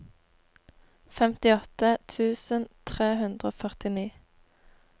femtiåtte tusen tre hundre og førtini